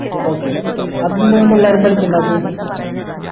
okay പഠിക്കണ്ടാത്തെ